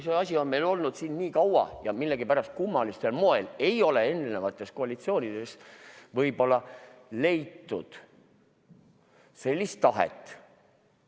See asi on meil olnud siin kaua ja millegipärast kummalisel moel ei ole eri koalitsioonides leitud tahet.